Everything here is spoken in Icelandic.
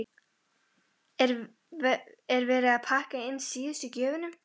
Hugrún Halldórsdóttir: Er verið að pakka inn síðustu gjöfunum?